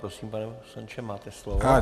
Prosím, pane poslanče, máte slovo.